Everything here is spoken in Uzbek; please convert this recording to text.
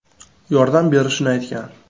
yordam berishini aytgan.